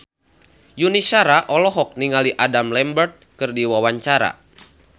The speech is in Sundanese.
Yuni Shara olohok ningali Adam Lambert keur diwawancara